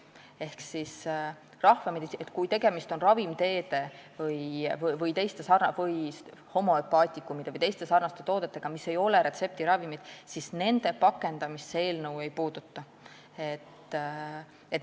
Rahvameditsiini vahendeid, kui tegemist on ravimteede, homöopaatiliste vahendite või teiste sarnaste toodetega, mis ei ole retseptiravimid, ja nende pakendamist see eelnõu ei puuduta.